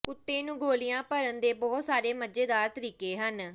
ਕੁੱਤੇ ਨੂੰ ਗੋਲ਼ੀਆਂ ਭਰਨ ਦੇ ਬਹੁਤ ਸਾਰੇ ਮਜ਼ੇਦਾਰ ਤਰੀਕੇ ਹਨ